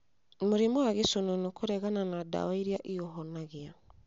Mũrimũ wa gĩcũnũnũ kũregana na ndawa iria iũhonagia